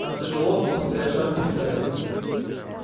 там тяжело ускоряя шаг спросил я